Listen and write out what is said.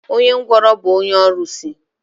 Onye ngwụrọ bụ onye ọrụsị.